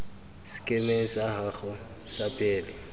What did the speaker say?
sekemeng sa gago sa pele